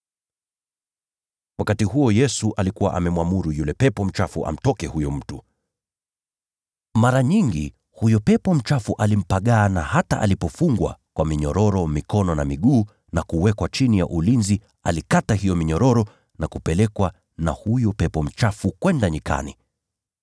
Wakati huo Yesu alikuwa amemwamuru yule pepo mchafu amtoke huyo mtu. Mara nyingi huyo pepo mchafu alimpagaa, na hata alipofungwa kwa minyororo mikono na miguu na kuwekwa chini ya ulinzi, alikata hiyo minyororo na kupelekwa na huyo pepo mchafu kwenda nyikani.